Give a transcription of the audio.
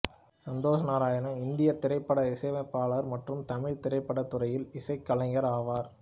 சந்தோஷ் நாராயணன் இந்திய திரைப்பட இசையமைப்பாளர் மற்றும் தமிழ் திரைப்பட துறையில் இசைக்கலைஞர் ஆவார்